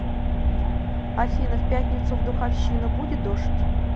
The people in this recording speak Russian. афина в пятницу в духовщина будет дождь